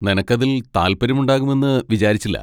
നിനക്ക് അതിൽ താല്പര്യമുണ്ടാകുമെന്ന് വിചാരിച്ചില്ല.